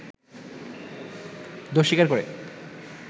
দোষ স্বীকার করে